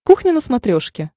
кухня на смотрешке